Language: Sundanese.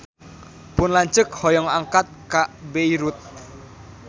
Pun lanceuk hoyong angkat ka Beirut